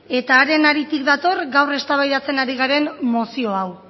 eta haren haritik dator gaur eztabaidatzen ari garen mozio hau